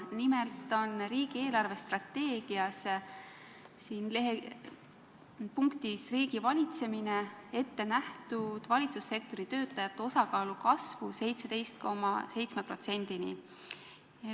Nimelt on riigi eelarvestrateegias punktis "Riigivalitsemine" ette nähtud valitsussektori töötajate osakaalu kasvu 17,7%-ni.